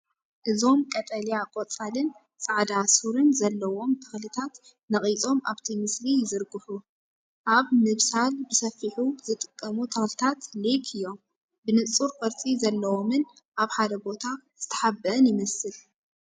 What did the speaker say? እዞም ቀጠልያ ቆጽልን ጻዕዳ ሱርን ዘለዎም ተኽልታት ነቒጾም ኣብቲ ምስሊ ይዝርግሑ። ኣብ ምብሳል ብሰፊሑ ዝጥቀሙ ተኽልታት ሌክ እዮም። ብንጹር ቅርጺ ዘለዎን ኣብ ሓደ ቦታ ዝተሓብአን ይመስል።